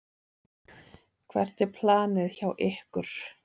Hvert er planið hjá ykkur?